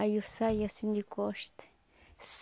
Aí eu saí assim de costa.